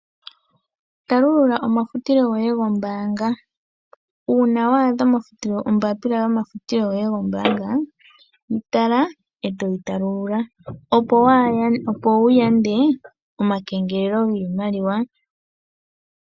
Talulula omafutilo goye gombaanga. Uuna wa adha ombaapila yomafutilo goye gombaanga, yi tala e toyi talulula, opo wu yande omakengelelo giimaliwa.